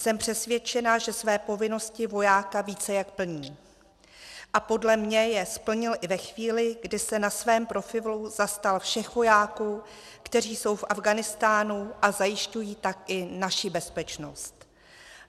Jsem přesvědčená, že své povinnosti vojáka více jak plní, a podle mě je splnil i ve chvíli, kdy se na svém profilu zastal všech vojáků, kteří jsou v Afghánistánu a zajišťují tak i naši bezpečnost.